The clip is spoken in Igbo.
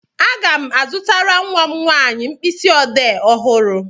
Aga m azụtara nwa m nwaanyị mkpịsị ọdee ọhụrụ.